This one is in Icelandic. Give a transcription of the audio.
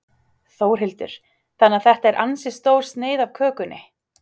Þórhildur: Þannig að þetta er ansi stór sneið af kökunni?